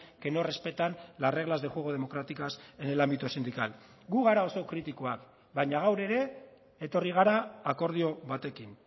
que no respetan las reglas de juego democráticas en el ámbito sindical gu gara oso kritikoak baina gaur ere etorri gara akordio batekin